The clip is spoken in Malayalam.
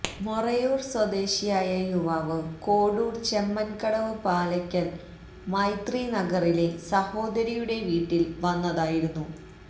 മൊറയൂർ സ്വദേശിയായ യുവാവ് കോഡൂർ ചെമ്മൻകടവ് പാലക്കൽ മൈത്രി നഗറിലെ സഹോദരിയുടെ വീട്ടിൽ വന്നതായിരുന്നു